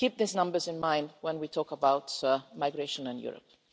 Keep these numbers in mind when we talk about migration in Europe.